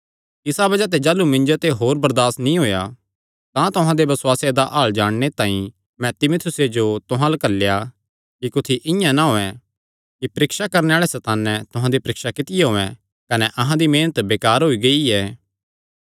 इसा बज़ाह ते जाह़लू मिन्जो ते होर बरदासत नीं होएया तां तुहां दे बसुआसे दा हाल जाणने तांई मैं तीमुथियुसे जो तुहां अल्ल घल्लेया कि कुत्थी इआं ना होयैं कि परीक्षा करणे आल़े सैताने तुहां दी परीक्षा कित्ती होयैं कने अहां दी मेहनत बेकार होई गेई ऐ